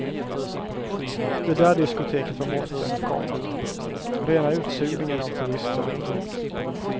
Det där diskoteket var botten, komma rena utsugningen av turister. punkt